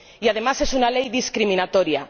Y, además, es una ley discriminatoria.